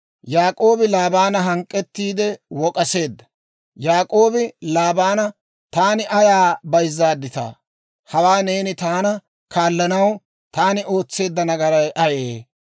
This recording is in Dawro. Yaak'oobi Laabaana hank'k'ettiide wok'k'aseedda; Yaak'oobi Laabaana, «Taani ayaa bayzaadittaa? Hawaa neeni taana kaallanaw, taani ootseedda nagaray ayee?